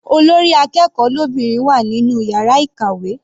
Olórí akẹ́kọ̀ọ́ lóbìnrin wà nínú yàrá ìkàwé.